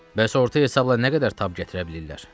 Bəs orta hesabla nə qədər tab gətirə bilirlər?